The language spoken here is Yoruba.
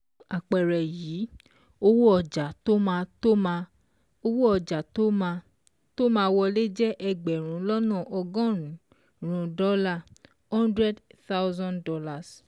Nínú àpẹẹrẹ yìí, owó ọjà tó máa tó máa wọlé jẹ́ ẹgbẹ̀rún lọ́nà ọgọ́rùn-ún dọ́là ($ one hundred thousand ).